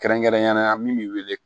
Kɛrɛnkɛrɛnnenya la min bɛ wele